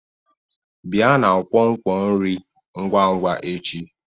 Bịa na nkwonkwo nri ngwa ngwa echi